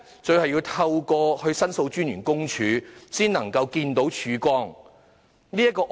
最後要透過申訴專員公署的協助才能見到曙光。